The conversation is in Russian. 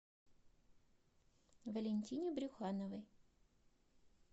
валентине брюхановой